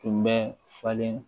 Tun bɛ falen